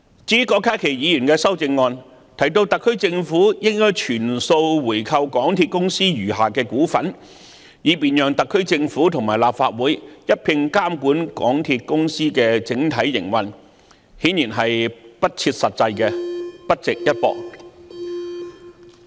至於郭家麒議員的修正案提到特區政府應全數回購港鐵公司餘下的股份，以便特區政府和立法會一併監管港鐵公司的整體營運，這顯然是不切實際，不值一駁。